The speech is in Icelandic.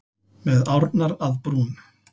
Með árnar að brún.